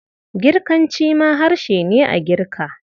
Girkanci ma harshe ne a Girka.